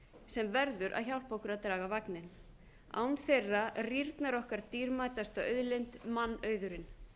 sem verður að hjálpa okkur að draga vagninn án þeirra rýrnar okkar dýrmætasta auðlind mannauðurinn